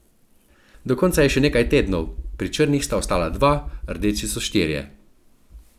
Do konca je še nekaj tednov, pri črnih sta ostala dva, rdeči so štirje.